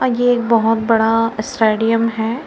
और ये एक बहोत बड़ा स्टेडियम है।